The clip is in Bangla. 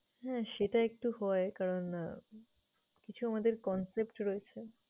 হ্যাঁ সেটা একটু হয় কারণ আহ কিছু আমাদের concept রয়েছে।